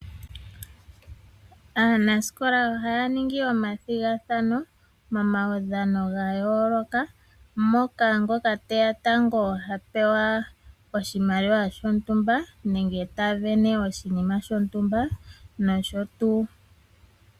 Aanasikola oha ya ningi omathigathano mo maudhano ga yooloka, moka ngoka teya tango hapewa oshimaliwa shotumba nenge tasindana oshinima shontumba nosho wo tuu.